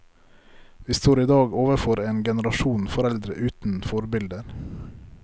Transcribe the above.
Vi står i dag overfor en generasjon foreldre uten forbilder.